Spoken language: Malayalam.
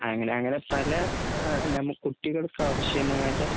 അങ്ങനെ അങ്ങനെ പല ഞമ്മ കുട്ടികള്‍ക്ക് ആവശ്യമായ